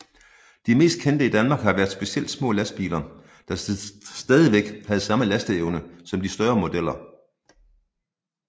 De mest kendte i Danmark har været specielt små lastbiler der stadigvæk havde samme lasteevne som de større modeller